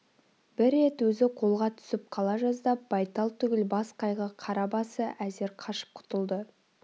бір рет өзі қолға түсіп қала жаздап байтал түгіл бас қайғы қара басы әзер қашып құтылды